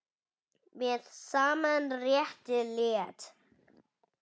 Með sama rétti lét